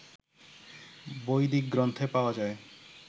বৈদিক গ্রন্থে পাওয়া যায়